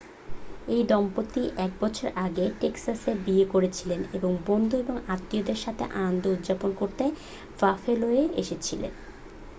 এই দম্পতি এক বছর আগে টেক্সাসে বিয়ে করেছিলেন ও বন্ধু এবং আত্মীয়দের সাথে আনন্দ উদযাপন করতে বাফেলোয় এসেছিলেন